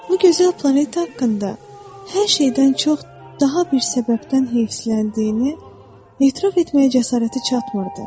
Bu gözəl planet haqqında hər şeydən çox daha bir səbəbdən heyfsiləndiyini etiraf etməyə cəsarəti çatmırdı.